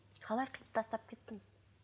қалай қиып тастап кеттіңіз